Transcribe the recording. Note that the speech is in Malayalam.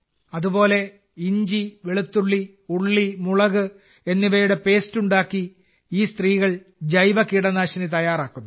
അതുപോലെ ഇഞ്ചി വെളുത്തുള്ളി ഉള്ളി മുളക് എന്നിവയുടെ പേസ്റ്റ് ഉണ്ടാക്കി ഈ സ്ത്രീകൾ ജൈവകീടനാശിനി തയ്യാറാക്കുന്നു